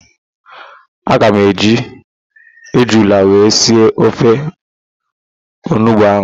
Aga m eji ejula wee sie ofe onugbo ahụ.